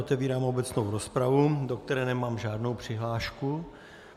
Otevírám obecnou rozpravu, do které nemám žádnou přihlášku.